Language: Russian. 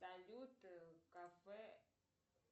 салют кафе